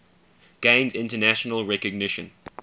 gained international recognition